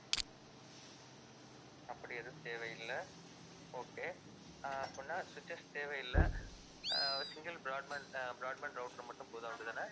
அப்படி எதுவும் தேவையில்லை okay ஆஹ் அப்படின்னா switches தேவையில்லை ஆஹ் single broadband அஹ் broadband router மட்டும் போதும் அப்படித்தானே